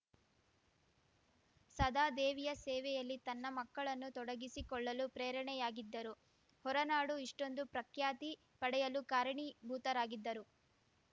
ಸದಾ ದೇವಿಯ ಸೇವೆಯಲ್ಲಿ ತನ್ನ ಮಕ್ಕಳನ್ನು ತೊಡಗಿಸಿಕೊಳ್ಳಲು ಪ್ರೇರಣೆಯಾಗಿದ್ದರು ಹೊರನಾಡು ಇಷ್ಟೊಂದು ಪ್ರಖ್ಯಾತಿ ಪಡೆಯಲು ಕಾರಣೀಭೂತರಾಗಿದ್ದರು